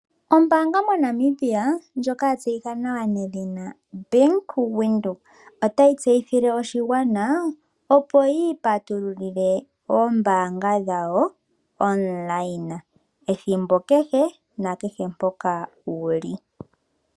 Ombaanga moNamibia ndjoka ya tseyika nawa nedhina Bank-Windhoek otayi tseyithile oshigwana opo yiipatululile oombanga dhawo komalungula ethimbo kehe, na kehe mpoka wuli.